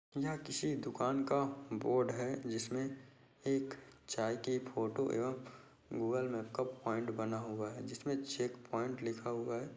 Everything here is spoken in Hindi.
यह किसी दुकान का बोर्ड है जिसमें एक चाय की फोटो एवम गूगल मैप का प्वाइंट बना हुआ है जिसमें चेकप्वाइंट लिखा हुआ हैं।